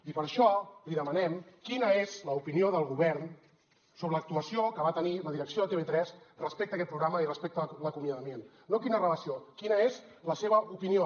i per això li demanem quina és l’opinió del govern sobre l’actuació que va tenir la direcció de tv3 respecte a aquest programa i respecte a l’acomiadament no quina relació quina és la seva opinió